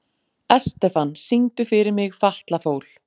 Estefan, syngdu fyrir mig „Fatlafól“.